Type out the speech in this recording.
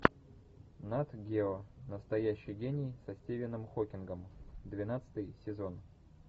нат гео настоящий гений со стивеном хокингом двенадцатый сезон